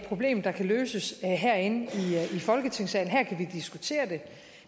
problem der kan løses herinde i folketingssalen her kan vi diskutere det